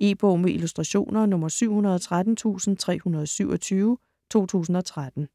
E-bog med illustrationer 713327 2013.